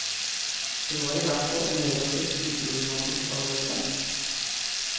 Det var i hvert fall en relativt uproblematisk avgjørelse.